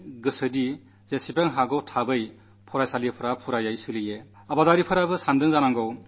എല്ലാ സ്കൂളുകളും കോളജുകളും പൂർണ്ണമായി പ്രവർത്തിക്കാൻ തുടങ്ങട്ടെ എന്ന് എല്ലാ മാതാപിതാക്കളും ആഗ്രഹിക്കുന്നു